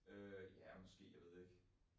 Øh ja måske. Jeg ved det ikke